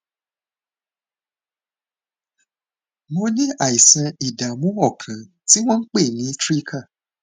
mo ní àìsàn ìdààmú ọkàn tí wọn ń pè ní trika